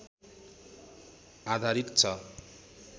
आधारित छ